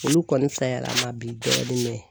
Olu kɔni bisayar'a ma bi dɔɔni